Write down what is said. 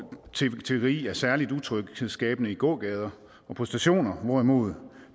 tiggeri er særlig utryghedsskabende i gågader og på stationer hvorimod